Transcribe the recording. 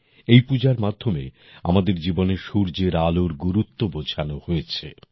এই পূজার মাধ্যমে আমাদের জীবনে সূর্যের আলোর গুরুত্ব বোঝানো হয়েছে